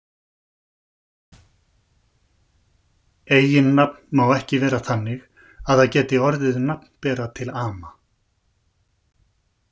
Eiginnafn má ekki vera þannig að það geti orðið nafnbera til ama.